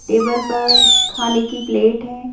Table पर खाने की प्लेट है।